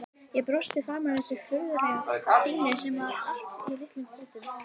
Ég brosti framan í þessa furðulegu Stínu sem var í allt of litlum fötum.